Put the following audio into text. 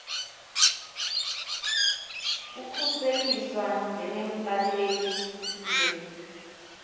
kukhuseliswa njengembaleki sibe